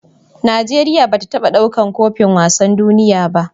Nigeria bata taba ɗaukar kofin wasan duniya ba